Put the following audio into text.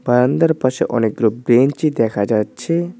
বারান্দার পাশে অনেকগুলো ব্রেঞ্চি দেখা যাচ্ছে।